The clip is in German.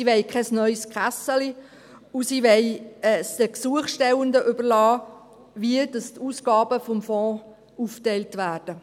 Sie will keine neue Kasse, und sie will es den Gesuchstellenden überlassen, wie die Ausgaben des Fonds aufgeteilt werden.